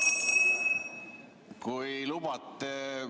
Kui lubate ...